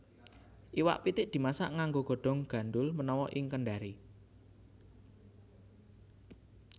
Iwak pitik dimasak nganggo godhong gandhul menawa ing Kendari